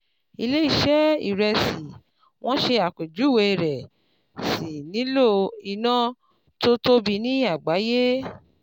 Ilé ṣẹ́ ìrẹsì wọ́n ṣe àpéjúwe rẹ̀ sì nílò iná tó tóbi ní àgbáyé.